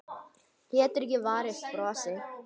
Getur ekki varist brosi.